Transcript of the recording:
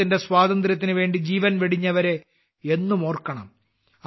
രാജ്യത്തിന്റെ സ്വാതന്ത്ര്യത്തിന് വേണ്ടി ജീവൻ വെടിഞ്ഞവരെ എന്നും ഓർക്കണം